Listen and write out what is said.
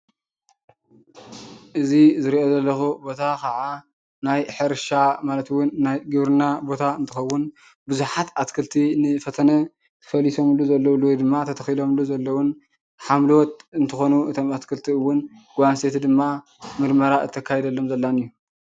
እዚ ዝሪኦ ዘለኹ ቦታ ካዓ ናይ ሕርሻ ማለት እዉን ናይ ግብርና ቦታ እንትኸዉን ብዙሓት ኣትክልቲ ንፈተነ ፈሊሶምሉ ዘለዉሉ ወይ ድማ ተተኺለምሉ ዘለዉን ሓምለዎት እንትኾኑ እቶም ኣትክልቲ እዉን ጓል ኣንስተይቲ ድማ ምርመራ እተካይደሎም ዘላን እዩ።